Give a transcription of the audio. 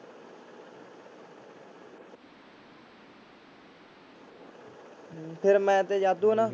ਹਮ ਫਿਰ ਮੈਂ ਤੇ ਜਾਦੂ ਆ ਨਾ।